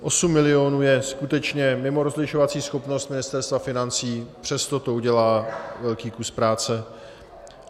Osm milionů je skutečně mimo rozlišovací schopnost Ministerstva financí, přesto to udělá velký kus práce.